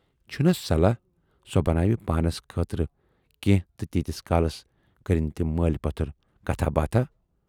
چھُنا صلاح سۅ بناوِ پانس خٲطرٕ کینہہ تہٕ تیٖتِس کالس کرن تِم مٲلۍ پوتھر کتھا ہ باتھاہ۔